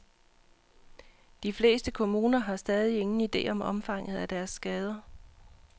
De fleste kommuner har stadig ingen ide om omfanget af deres skader.